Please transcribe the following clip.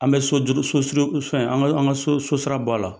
An bɛ so juru so so so suru fɛn, an ka an ka so so sira bɔ a la.